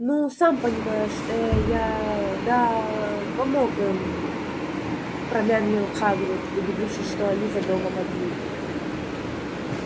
ну сам понимаешь эээ я да помог им промямлил хагрид убедившись что они за домом одни